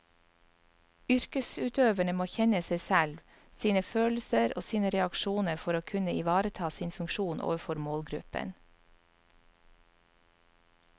Yrkesutøverne må kjenne seg selv, sine følelser og sine reaksjoner for å kunne ivareta sin funksjon overfor målgruppen.